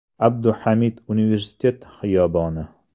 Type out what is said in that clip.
Abduhamid Universitet xiyoboni.